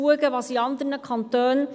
Vertreten wird sie durch Frau Marti.